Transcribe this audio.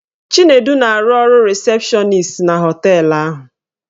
Chinedu na-arụ ọrụ rịsepshọnis na họteelụ ahụ.